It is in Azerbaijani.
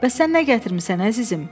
Bəs sən nə gətirmisən əzizim?